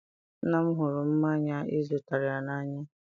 nna m hụrụ mmanya ị zụtara ya n'anya.